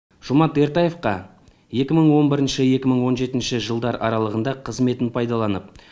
жомарт ертаевқа екі мың он бірінші екі мың он жетінші жылдар аралығында қызметін пайдаланып